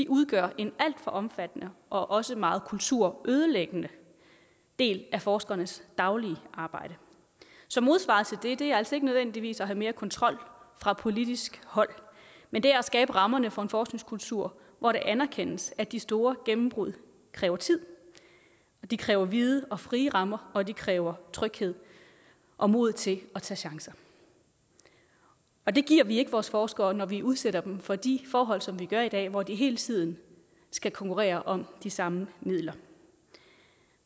udgør en alt for omfattende og også meget kulturødelæggende del af forskernes daglige arbejde så modsvaret til det er altså ikke nødvendigvis at have mere kontrol fra politisk hold men det er at skabe rammerne for en forskningskultur hvor det anerkendes at de store gennembrud kræver tid at de kræver vide og frie rammer og at de kræver tryghed og mod til at tage chancer og det giver vi ikke vores forskere når vi udsætter dem for de forhold som vi gør i dag hvor de hele tiden skal konkurrere om de samme midler